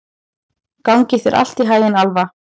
Gangi þér allt í haginn, Alfa.